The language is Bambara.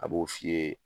A b'o f'i ye